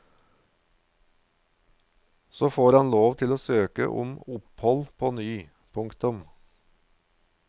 Så får han lov til å søke om opphold på ny. punktum